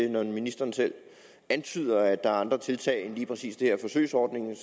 og når ministeren selv antyder at der er andre tiltag end lige præcis den her forsøgsordning vil